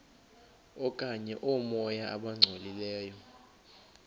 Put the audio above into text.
okanye oomoya abangcolileyo